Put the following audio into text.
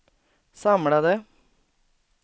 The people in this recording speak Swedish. samlade